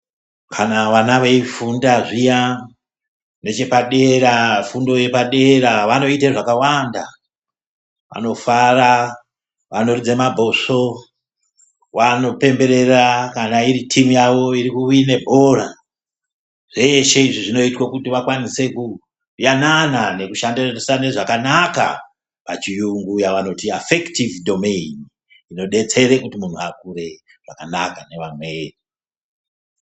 Kana vana veifunda zviya nechepadera fundo yepadera vanoite zvakawanda vanofara vanoridze mabhosvo vanopemberera kana iri timu yawo iri kuwine bhora zveshe izvi zvinoitwe kuti vakawanise kuyanana nekushandisane zvakanaka pa chiyungu yavanoti afekitivi domaini zvinodetsere kuti vakure nevamweni mune zvakanaka.